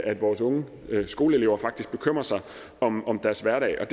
at vores unge skoleelever faktisk bekymrer sig om om deres hverdag og